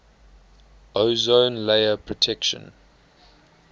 ozone layer protection